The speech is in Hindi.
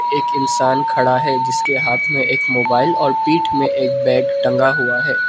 एक इंसान खड़ा है जिसके हाथ में एक मोबाइल और पीठ में एक बैग टंगा हुआ है।